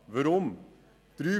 Weshalb dies?